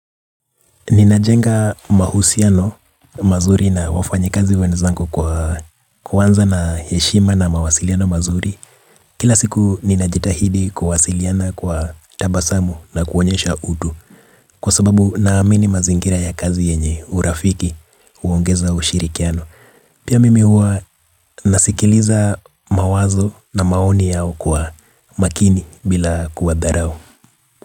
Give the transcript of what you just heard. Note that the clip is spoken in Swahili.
Ninajenga mahusiano mazuri na wafanyikazi wenzangu kwa kuanza na heshima na mawasiliano mazuri. Kila siku ninajitahidi kuwasiliana kwa tabasamu na kuonyesha utu. Kwa sababu naamini mazingira ya kazi yenye urafiki huongeza ushirikiano. Pia mimi huwa nasikiliza mawazo na maoni yao kwa makini bila kuwadharau.